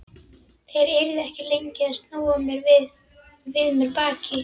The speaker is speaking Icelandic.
Þeir yrðu ekki lengi að snúa við mér baki.